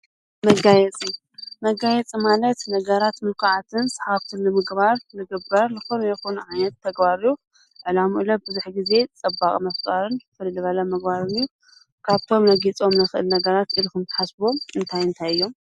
መጋየፂ፦ መጋየፂ ማለት ነገራት ምልኩዓትን ስሓብትን ንምግባር ዝግበር ዝኾነ ይኹን ዓይነት ተግባር እዩ። ዕላሙኡ ለ ብዙሕ ግዜ ፅባቀ ምፍጣር ፍልይ ዝበለ ምግባርን እዩ። ካብቶም እነግይፆም እንክእል ነገራት ኢልኩም እትሓስብዎም እንታይ እንታይ እዮም?